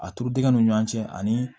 A turu dingɛ nun ni ɲɔn cɛ ani